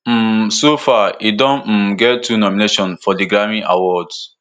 um so far e don um get two nominations for di grammy awards